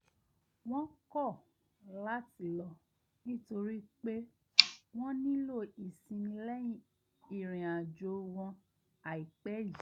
wọ́n kọ̀ láti lọ nítorí pé wọ́n nílò ìsinmi lẹ́yìn ìrìn àjò wọn àìpẹ́ yìí